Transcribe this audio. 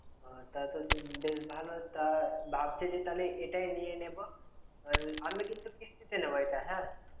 আহ তা তা বেশ ভালো তা ভাবছি যে তাহলে এটাই নিয়ে নেব। আহ আমি কিন্তু কিস্তিতে নেব এটা হা।